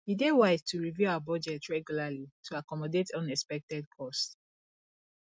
e dey wise to review our budget regularly to accommodate unexpected costs